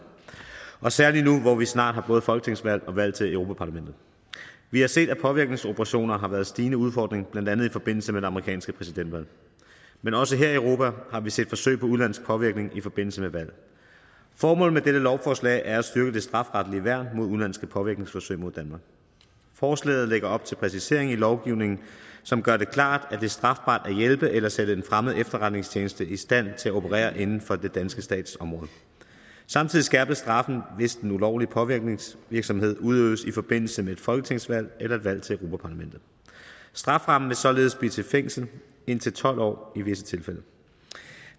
særlig nu hvor vi snart har både folketingsvalg og valg til europa parlamentet vi har set at påvirkningsoperationer har været en stigende udfordring blandt andet i forbindelse med det amerikanske præsidentvalg men også her i europa har vi set forsøg på udenlandsk påvirkning i forbindelse med valg formålet med dette lovforslag er at styrke det strafferetlige værn mod udenlandske påvirkningsforsøg mod danmark forslaget lægger op til præciseringer i lovgivningen som gør det klart at det er strafbart at hjælpe eller sætte en fremmed efterretningstjeneste i stand til at operere inden for den danske stats område samtidig skærpes straffen hvis den ulovlige påvirkningsvirksomhed udøves i forbindelse med et folketingsvalg eller et valg til europa parlamentet strafferammen vil således blive fængsel i indtil tolv år i visse tilfælde